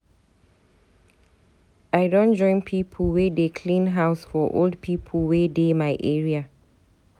I don join pipo wey dey clean house for old pipo wey dey my area.